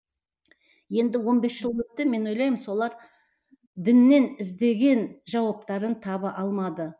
енді он бес жыл өтті мен ойлаймын солар діннен іздеген жауаптарын таба алмады